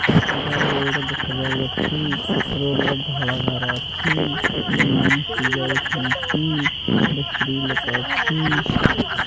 Road ଦେଖାଯାଉଅଛି road ରେ ଧଳା ଗାର ଅଛି ମଇଁଷି ଯାଉଚନ୍ତି ଗୋଟେ ସ୍ତ୍ରୀ ଲୋକ ଅଛି।